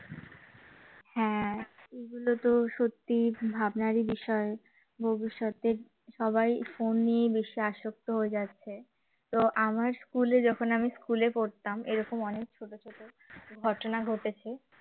হ্যাঁ এগুলো তো সত্যিই ভাবনারই বিষয় ভবিষ্যতে সবাই phone নিয়ে বেশি আসক্ত হয়ে যাচ্ছে তো আমার school এ যখন আমি school এ পড়তাম এরকম অনেক ছোট ছোট ঘটনা ঘটেছে